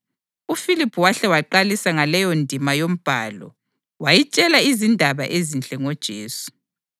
UFiliphu wahle waqalisa ngaleyondima yoMbhalo, wayitshela izindaba ezinhle ngoJesu.